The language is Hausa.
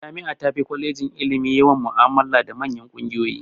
Jami'a tafi kwalejin ilimi yawan mu'amala da manyan kungiyoyi.